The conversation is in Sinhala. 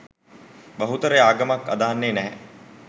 බහුතරය ආගමක් අදහන්නේ නැහැ